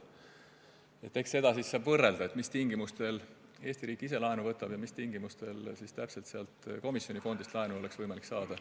Eks seda siis saab võrrelda, millistel tingimustel Eesti riik ise laenu võtab ja millistel tingimustel on komisjoni fondist laenu võimalik saada.